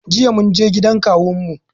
Jiya munje gidan kawun mu